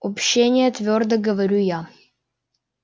общения твёрдо говорю я